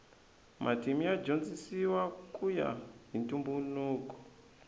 matimu ya dyondzisiwa kuya hi ntumbuluko